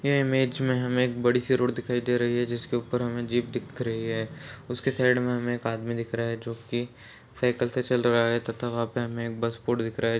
यह इमेज में हमें एक बड़ी- सी रोड दिखाई दे रही है जिसके ऊपर हमें जीप दिख रही है उसके साइड में हमें एक आदमी दिख रहा है जोकि साइकिल से चल रहा है तथा वहाँ पर हमें एक बस पोर्ट दिख रहा है।